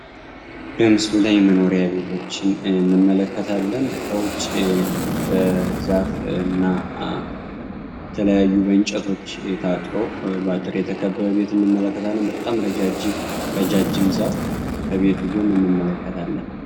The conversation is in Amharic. በምስሉ ላይ መኖሪያ ቤቶችን እንመለከታለን። ከውጭ በዛፍ እና በተለያዩ በእንጨቶች ታጥሮ ታጥሮ በአጥር የተከበበ ቤት እንመለከታለን በጣም ረጃጅም ዛፍ ከቤቱ ጎን እንመለከታለን።